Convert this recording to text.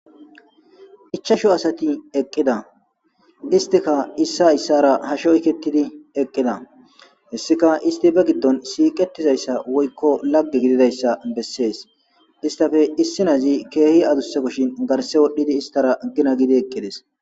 ichashu asati eqqida istika issa hayssara ha sho yketidi eqqida hessika isti be giddon siiqetizayssa woykko lagge gididayssa bessees istafe issinazi keehi adusse kushin garse wodhdhidi istara gina gidi eqqides